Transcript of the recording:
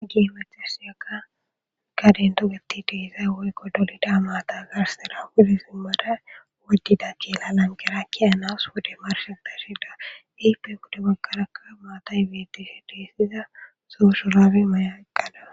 Keehippe kaden togeti deezay woykko dolida maata garsera wudi simmada woddida keelanan gerakki anas wode marshe dashida ipenqude baggarakka maatay bts deeysiza soo shurabe mayaqqada